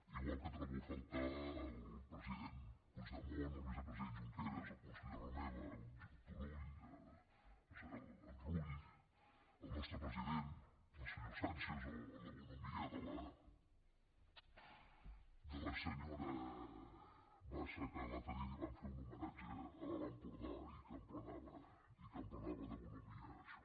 igual que trobo a faltar el president puigdemont el vicepresident junqueras el conseller romeva el turull el rull el nostre president el senyor sànchez o la bonhomia de la senyora bassa que l’altre dia li van fer un homenatge a l’alt empordà i que emplenava de bonhomia això